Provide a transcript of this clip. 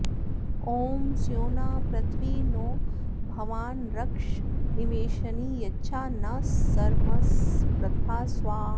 ॐ स्योना पृथिवि नो भवानृक्षरानिवेशनी यच्छा नः सर्मसप्रथाः स्वाहा